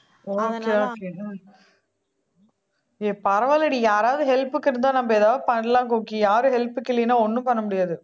okay okay ஏய் பரவால்லைடி யாராவது help க்கு இருந்தா நம்ப ஏதாவது பண்ணலாம் கோக்கி யாரு help க்கு இல்லன்னா ஒண்ணும் பண்ண முடியாது